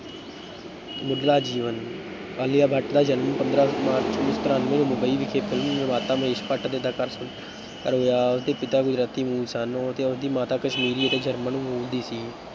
ਮੁੱਢਲਾ ਜੀਵਨ ਆਲਿਆ ਭੱਟ ਦਾ ਜਨਮ ਪੰਦਰਾਂ ਮਾਰਚ ਉੱਨੀ ਸੌ ਤਰਾਨਵੇਂ ਨੂੰ ਮੁੰਬਈ ਵਿਖੇ film ਨਿਰਮਾਤਾ ਮਹੇਸ਼ ਭੱਟ ਅਤੇ ਉਸ ਦੇ ਪਿਤਾ ਗੁਜਰਾਤੀ ਮੂਲ ਸਨ ਅਤੇ ਉਸਦੀ ਮਾਂ ਕਸ਼ਮੀਰੀ ਅਤੇ ਜਰਮਨ ਮੂਲ ਦੀ ਸੀ।